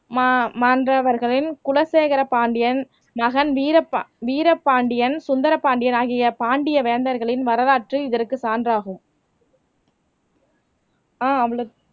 மா மாண்டவர்களின் குலசேகர பாண்டியன் மகன் வீரபா வீரபாண்டியன் சுந்தரபாண்டியனாகிய பாண்டிய வேந்தர்களின் வரலாற்று, இதற்கு சான்றாகும் ஆஹ் அவ்ளோ